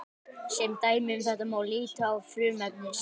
Sem dæmi um þetta má líta á frumefni selen.